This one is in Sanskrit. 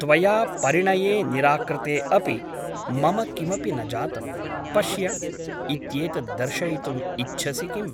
त्वया परिणये निराकृते अपि मम किमपि न जातं , पश्य ' इत्येतत् दर्शयितुम् इच्छसि किम् ?